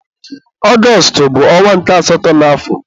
Ọgọstụ bụ ọnwa nke asatọ n'afọ.